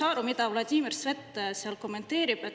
Ja ma ei saa aru, mida Vladimir Svet seal kommenteerib.